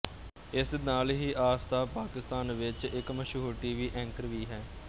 ਇਸਦੇ ਨਾਲ ਹੀ ਆਫ਼ਤਾਬ ਪਾਕਿਸਤਾਨ ਵਿੱਚ ਇੱਕ ਮਸ਼ਹੂਰ ਟੀਵੀ ਐਂਕਰ ਵੀ ਹੈ